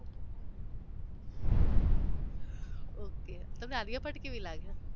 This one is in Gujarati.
ઓકે તમને આલિયા ભટ્ટ કેવી લાગે?